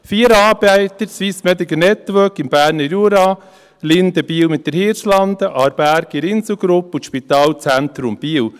Vier Anbieter: SMN im Berner Jura, Linde, Biel, mit der Hirslanden, Aarberg in der Inselgruppe und das Spitalzentrum Biel.